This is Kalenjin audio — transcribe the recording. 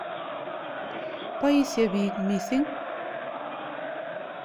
Poisye piik missing'.